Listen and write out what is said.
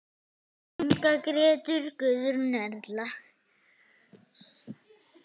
Inga, Gréta, Guðrún, Erla.